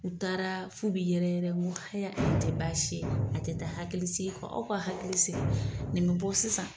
U taara f'u bɛ yɛrɛ yɛrɛ n ko haya o tɛ baasi ye a tɛ taa hakili sigi kɔ aw ka hakili sigi nin bɛ bɔ sisan